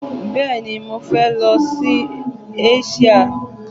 Bẹ́ẹ̀ni, mọ fẹ lọ sí Eṣíà.